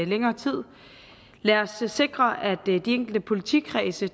længere tid lad os sikre at de enkelte politikredse